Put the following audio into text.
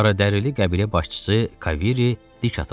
Qaradərili qəbilə başçısı Kairi dik atıldı.